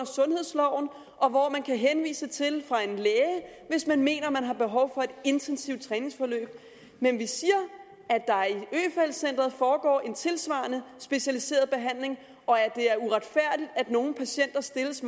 sundhedsloven og hvor man kan henvises til fra en læge hvis man mener man har behov for et intensivt træningsforløb men vi siger at centret foregår en tilsvarende specialiseret behandling og at det er uretfærdigt at nogle patienter stilles